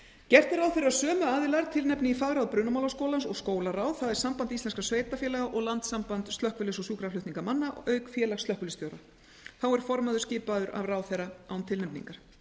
gert er ráð fyrir að sömu aðilar tilnefni í fagráð brunamálaskólans og skólaráð það er samband íslenskra sveitarfélaga og landssamband slökkviliðs og sjúkraflutningamanna auk félags slökkviliðsstjóra þá er formaður skipaður af ráðherra án tilnefningar